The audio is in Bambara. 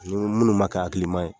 Ni minnu ma kɛ hakilima ye.